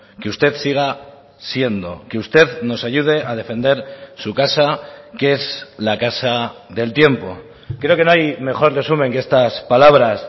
que usted siga siendo que usted nos ayude a defender su casa que es la casa del tiempo creo que no hay mejor resumen que estas palabras